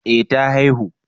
eh ta haihu